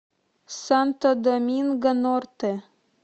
санто доминго норте